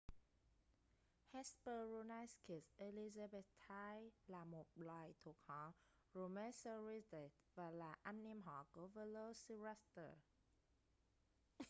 hesperonychus elizabethae là một loài thuộc họ dromaeosauridae và là anh em họ của velociraptor